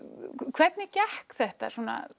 hvernig gekk þetta